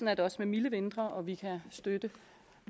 er det også med milde vintre og vi kan støtte